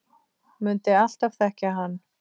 Mundi alltaf þekkja hann.